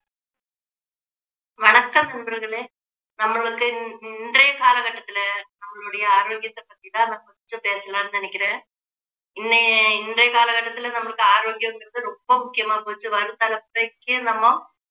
வணக்கம் நண்பர்களே நம்மளுக்கு இன்~ இன்றைய காலகட்டத்துல நம்மளுடைய ஆரோக்கியத்தை பத்தி தான் நான் first பேசலாம்னு நினைக்கிறேன் இன்னை~ இன்றைய காலகட்டத்துல நம்மளுக்கு ஆரோக்கியங்குறது ரொம்ப முக்கியமா போச்சு வரும் தலைமுறைக்கு நம்ம